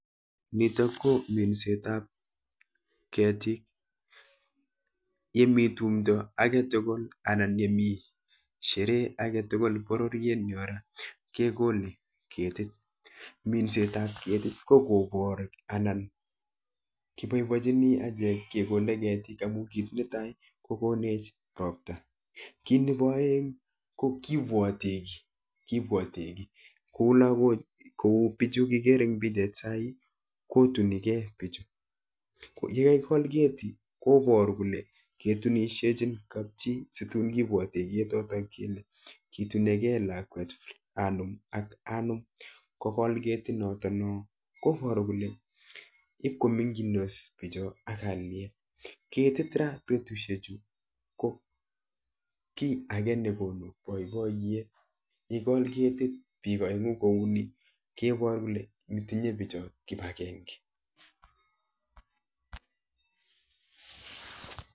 Nitok ko minset ab ketik yon mi tumdo agetugul bororiet nyon kemine ketik, minset ab ketik ko kobor ana keboibochini kekol ketik amuu konu ropta ako kora kutun kebuote kiit ne kiyaak, ketit ra betusyiek chu ko kiit nebo boiboyet amuu ngokol ketik biik oengu koboru kole tinye kipagenge